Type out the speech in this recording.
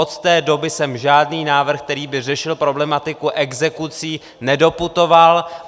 Od té doby sem žádný návrh, který by řešil problematiku exekucí, nedoputoval.